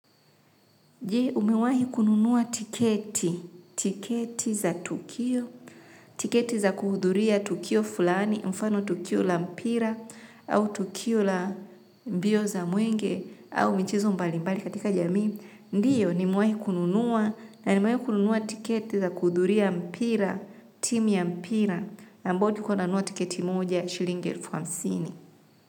Je, umewahi kununua tiketi, tiketi za tukio, tiketi za kuhuduria tukio fulani, mfano tukio la mpira, au tukio la mbio za mwenge, au michezo mbalimbali katika jamii, ndiyo, nimewahi kununua, na nimewahi kununua tiketi za kuhuduria mpira, timu ya mpira, ambayo tulikuwa tunanunua tiketi moja, shilingi elfu hamsini.